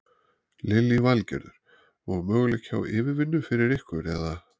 Lillý Valgerður: Og möguleiki á yfirvinnu fyrir ykkur eða?